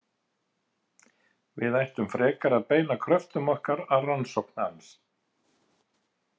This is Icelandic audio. Við ættum frekar að beina kröftum okkar að rannsókn hans.